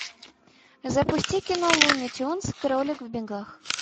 запусти кино луни тюнз кролик в бегах